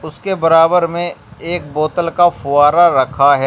उसके बराबर में एक बोतल का फव्वारा रखा है।